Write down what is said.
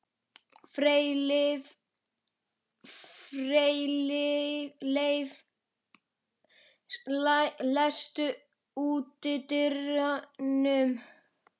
Freyleif, læstu útidyrunum.